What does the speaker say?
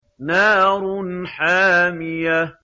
نَارٌ حَامِيَةٌ